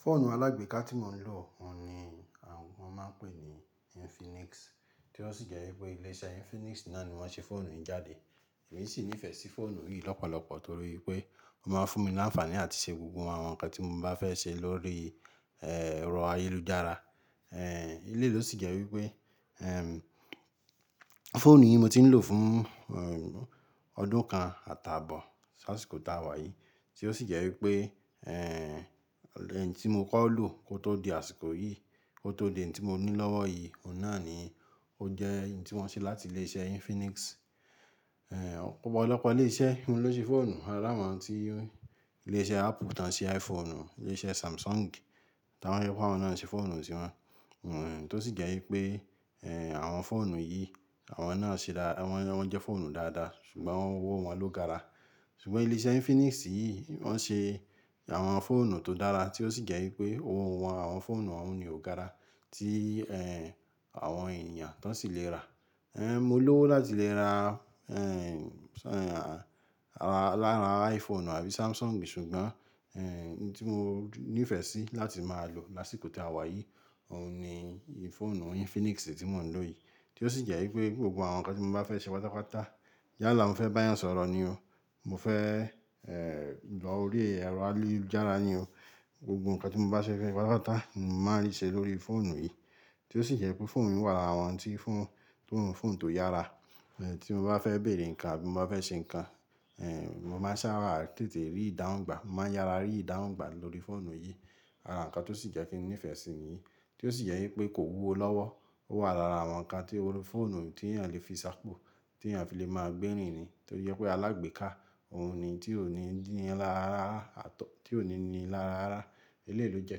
Fóònù alágbèéká tí mo ń lò ni wọ́n máa ń pè ní Infinix, tí ó sì jẹ́ wípé ilé iṣẹ́ Infinix náà ni wọ́n ṣe fóònù yìí jáde. Èmi sì nífẹ̀ẹ́ sí fóònù yìí lọ́pọ̀lọpọ̀ torí pé ó máa ń fún mi láǹfàní àti ṣe gbogbo àwọn ǹkan tí mo bá fẹ́ ṣe lórí, eeh, ẹ̀rọ ayélujára. Eeh, eléyì ló sì jẹ́ wípé, eeh, fóònù yìí mo ti ń lò fún, eeh, ọdún kan àtaabọ̀, s'ásìkò tá a wá yìí. Tí ó sì jẹ́ wípé, eeh, ohun tí mo kọ́ lò kó tó di àsìkò yìí, kó tó di eyi tí mo ní lọ́wọ́ yìí, òun náà ni ó jẹ́ èyí tí wọ́n ṣe láti ilé iṣẹ́ Infinix. Eeh, ọ̀pọ̀lọpọ̀ ilé iṣẹ́ ni wọ́n ló ṣe fóònù. Ari àwọn tí ilé iṣẹ́ Apple tí wọ́n ṣe iPhone, ilé iṣẹ́ Samsung tí ojepe awọ́n wípé àwọn náà ń ṣe fóònù tí wọn. Wọ̀nh, tó sì jẹ́ wípé, eeh, àwọn fóònù yìí àwọn náà ṣe dáadáa, wọ́n jẹ́ fóònù dáadáa ṣùgbọ́n owó wọn ló gara. Ṣùgbọ́n ilé iṣẹ́ Infinix yìí wọ́n ṣe àwọn fóònù tó dára tí ó sì jẹ́ wípé owó àwọn fóònù ọhun ni ò gara tí, eeh, ti àwọn ènìyàn tó sì le ra. Eeh, mo lówó láti le ra, eeh, lára iPhone àbí Samsung ṣùgbọ́n, eeh, ohun tí mo ní ìfẹ́ sí láti máa lò lásìkò tí a wá yìí òun ni fónù Infinix yìí tí mo ń lò yìí. Tí ó sì jẹ́ wípé gbogbo àwọn ǹkan tí mo bá fẹ́ ṣe pátápátá, yálà mo fẹ́ bá èyán sọ̀rọ̀ ni o, mo fẹ́, eeh, lọ orí ẹ̀rọ ayélujára ni o. Gbogbo ǹkan tí mo bá fẹ́ ṣe pátápátá ni màá rí ṣe lórí fóònù yìí. Tí ó sì jẹ́ pé fóònù mìí wà lára àwọn ti ń fún, ti ń fun tó yára. Eeh, tí mo bá fẹ́ bèèrè ǹkan àbí mo bá fẹ́ ṣe ǹkan, eeh, mo máa sábà tètè rí ìdáhùn gbà. Mo máa yára rí ìdáhùn gbà lórí fóònù yìí. Ara ǹkan tó sì jẹ́ kí n nífẹ̀ẹ́ sí i nìyí. Tí ó sì jẹ́ wípé kò wúwo lọ́wọ́. Ó wà lára àwọn ǹkan tí orí fóònù tí èèyàn lè fi sapò, tí èèyàn fi lè máa gbèrìn ni. Tí ó jẹ pé alágbèéká òun ni tí ò ní níla rárá, àtọ̀, tí ò ní níla rárá. Ilé yìí ló jẹ́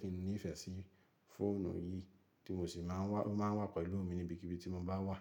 kí n nífẹ̀ẹ́ sí fóònù yìí tí mo sì máa ń wá-- ó máa ń wà pẹ̀lú mi níbikíbi tí mo bá wà.